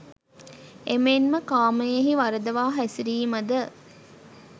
එමෙන්ම කාමයෙහි වරදවා හැසිරීම ද